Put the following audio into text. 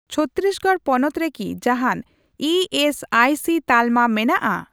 ᱪᱷᱚᱛᱛᱤᱥᱜᱚᱲ ᱯᱚᱱᱚᱛ ᱨᱮᱠᱤ ᱡᱟᱦᱟᱱ ᱤ ᱮᱥ ᱟᱭ ᱥᱤ ᱛᱟᱞᱢᱟ ᱢᱮᱱᱟᱜᱼᱟ ?